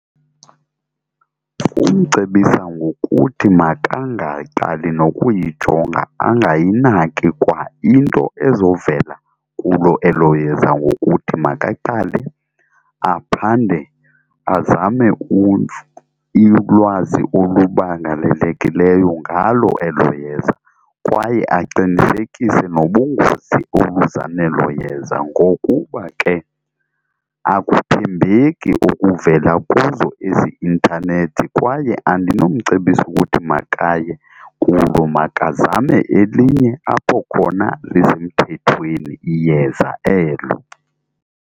Kumcebisa ngokuthi makangaqali nokuyijonga angayinaki kwa into ezovela kulo elo yeza ngokuthi makaqale aphande, azame ulwazi oluphangaleleyo ngalo elo yeza kwaye aqinisekise nobungozi obuza nelo yeza ngokuba ke akuthembeki okuvela kuzo ezi intanethi kwaye andinomcebisa ukuthi makaye kulo, makazame elinye apho khona lisemthethweni iyeza elo.